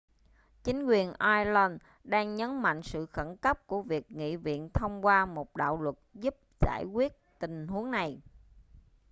chính quyền ireland đang nhấn mạnh sự khẩn cấp của việc nghị viện thông qua một đạo luật giúp giải quyết tình huống này